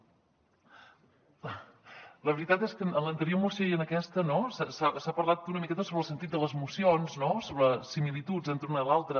la veritat és que en l’anterior moció i en aquesta s’ha parlat una miqueta sobre el sentit de les mocions no sobre similituds entre una i l’altra